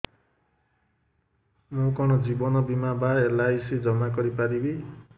ମୁ କଣ ଜୀବନ ବୀମା ବା ଏଲ୍.ଆଇ.ସି ଜମା କରି ପାରିବି